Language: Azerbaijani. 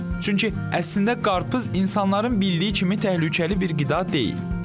Çünki əslində qarpız insanların bildiyi kimi təhlükəli bir qida deyil.